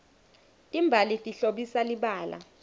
timbali tihlobisa libala